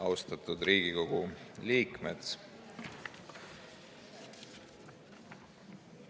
Austatud Riigikogu liikmed!